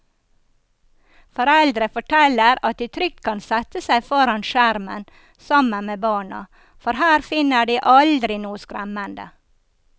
Foreldre forteller at de trygt kan sette seg foran skjermen sammen med barna, for her finner de aldri noe skremmende.